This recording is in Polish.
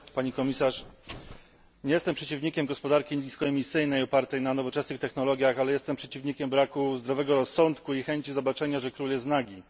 Pani Komisarz! Nie jestem przeciwnikiem gospodarki niskoemisyjnej, opartej na nowoczesnych technologiach, ale jestem przeciwnikiem braku zdrowego rozsądku i chęci zobaczenia, że król jest nagi.